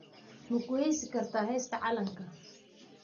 Ma ku heesi kartaa heesta calanka?